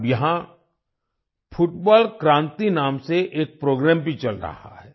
अब यहाँ फुटबॉल क्रांति नाम से एक प्रोग्राम भी चल रहा है